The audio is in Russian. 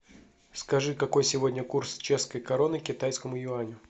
скажи какой сегодня курс чешской кроны к китайскому юаню